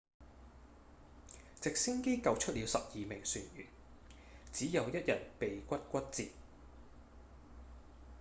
直升機救出了十二名船員只有一人鼻骨骨折